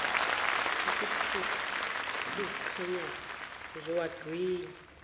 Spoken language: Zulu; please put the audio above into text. sithutha esiziqhenyayo uzowagwinywa